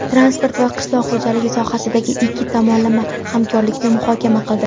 transport va qishloq xo‘jaligi sohasidagi ikki tomonlama hamkorlikni muhokama qildi.